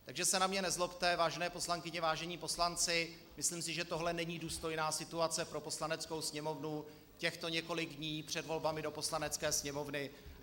Takže se na mě nezlobte, vážené poslankyně, vážení poslanci, myslím si, že tohle není důstojná situace pro Poslaneckou sněmovnu, těchto několik dní před volbami do Poslanecké sněmovny.